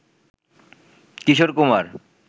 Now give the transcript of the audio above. Kishore Kumar